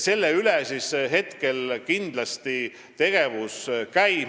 Selle nimel kindlasti tegevus käib.